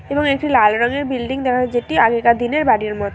এবং একটি লাল রঙের বিল্ডিং দেখা যাচ্ছে যেটি আগে কার দিনের বাড়ির ম--